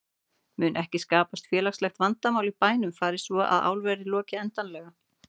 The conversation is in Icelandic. Mun ekki skapast félagslegt vandamál í bænum fari svo að álverið loki endanlega?